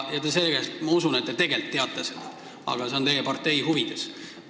Ja ma usun, et te tegelikult teate seda, aga see on teie partei huvides.